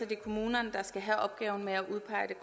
det er kommunerne der skal have opgaven med at udpege